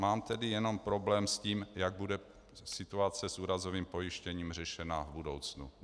Mám tedy jenom problém s tím, jak bude situace s úrazovým pojištěním řešena v budoucnu.